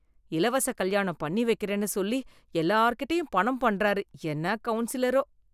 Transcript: இலவச கல்யாணம் பண்ணி வெக்கறேன்னு சொல்லி எல்லார்கிட்டயும் பணம் பண்ணுறார், என்ன கவுன்சிலரோ.